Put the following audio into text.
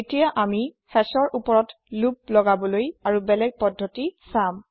এতিয়া আমি hashৰ ওপৰত লোপ লগাবলৈ আৰু বেলেগ পদ্ধতি চাম